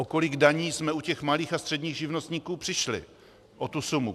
O kolik daní jsme u těch malých a středních živnostníků přišli, o tu sumu?